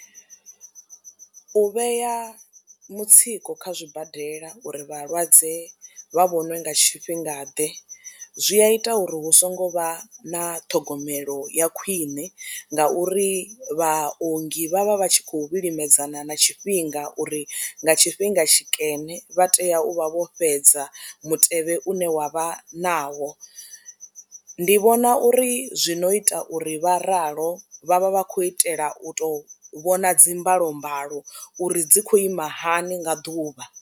U vhea mutsiko kha zwibadela uri vhalwadze vha vhoniwe nga tshifhingaḓe zwi a ita uri hu songo vha na ṱhogomelo ya khwine ngauri vhaongi vhaha vha tshi khou vhilimedzana na tshifhinga uri nga tshifhinga tshikene vha tea u vha vho fhedza mutevhe une wa vha nawo. Ndi vhona uri zwi no ita uri vha ralo vha vha vha khou itela u tou vhona dzi mbalombalo uri dzi khou ima hani nga ḓuvha.